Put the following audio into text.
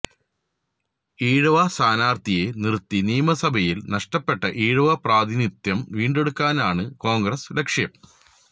ഈഴവ സ്ഥാനാര്ത്ഥിയെ നിര്ത്തി നിയമസഭയില് നഷ്ടപ്പെട്ട ഈഴവ പ്രാതിനിധ്യം വീണ്ടെടുക്കാനാണ് കോണ്ഗ്രസ് ലക്ഷ്യം